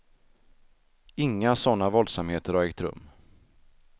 Inga sådana våldsamheter har ägt rum.